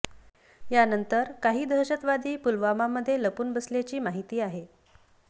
यानंतर काही दहशतवादी पुलवामा मध्ये लपून बसल्याची माहिती आहे